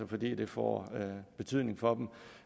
fordi det får betydning for dem